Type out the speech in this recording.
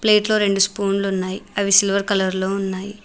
ప్లేట్లో రెండు స్పూన్లున్నాయ్ అవి సిల్వర్ కలర్లో ఉన్నాయి.